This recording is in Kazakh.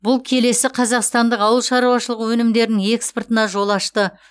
бұл келесі қазақстандық ауыл шаруашылығы өнімдерінің экспортына жол ашты